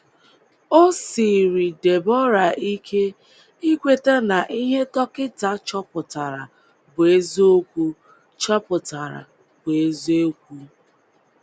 O siiri Deborah ike ikweta na ihe dọkịta chọpụtara bụ eziokwu chọpụtara bụ eziokwu.